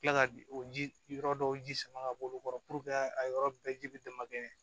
Kila ka o ji yɔrɔ dɔw ji sama ka bɔ olu kɔrɔ puruke a yɔrɔ bɛɛ ji bɛ damakɛɲɛ